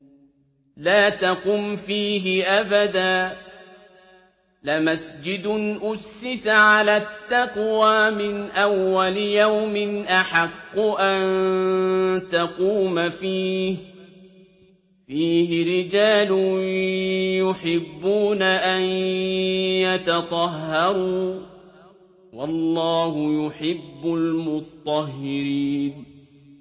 لَا تَقُمْ فِيهِ أَبَدًا ۚ لَّمَسْجِدٌ أُسِّسَ عَلَى التَّقْوَىٰ مِنْ أَوَّلِ يَوْمٍ أَحَقُّ أَن تَقُومَ فِيهِ ۚ فِيهِ رِجَالٌ يُحِبُّونَ أَن يَتَطَهَّرُوا ۚ وَاللَّهُ يُحِبُّ الْمُطَّهِّرِينَ